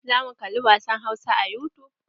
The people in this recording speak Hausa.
Zamu kali wasan hausa a yutub.